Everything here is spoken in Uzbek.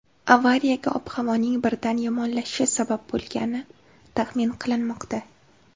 Avariyaga ob-havoning birdan yomonlashishi sabab bo‘lgani taxmin qilinmoqda.